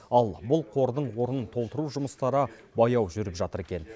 ал бұл қордың орнын толтыру жұмыстары баяу жүріп жатыр екен